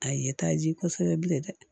A ye taa ji kosɛbɛ bilen dɛ